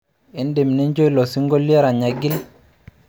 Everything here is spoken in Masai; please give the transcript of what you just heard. Idim nirnjo ilo sinkolio erany aigil